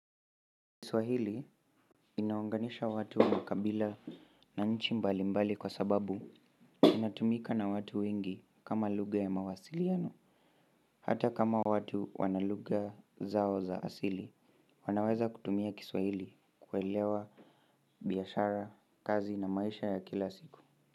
Kiswahili inaunganisha watu, makabila na nchi mbalimbali kwa sababu inatumika na watu wengi kama lugja ya mawasiliano. Hata kama watu wana lugha zao za asili, wanaweza kutumia Kiswahili kuelewa biashara, kazi na maisha ya kila siku.